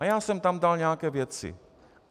A já jsem tam dal nějaké věci.